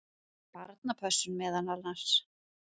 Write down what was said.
Barnapössun meðal annars.